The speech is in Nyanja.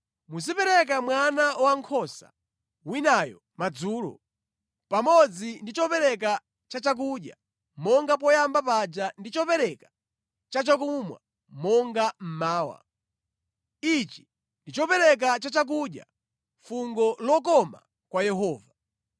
Muzipereka mwana wankhosa winayo madzulo, pamodzi ndi chopereka chachakudya monga poyamba paja ndi chopereka chachakumwa monga mmawa. Ichi ndi chopereka chachakudya, fungo lokoma kwa Yehova.’ ”